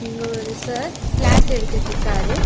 இங்க ஒரு sir class எடுத்துட்ருக்காரு.